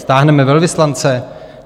Stáhneme velvyslance?